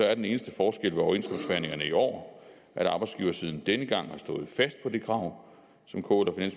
er den eneste forskel ved overenskomstforhandlingerne i år at arbejdsgiversiden denne gang har stået fast på det krav som kl og